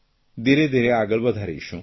ધીરેધીરે આગળ વધારીશું